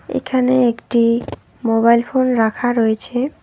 এখানে একটি mobile phone রাখা রয়েছে।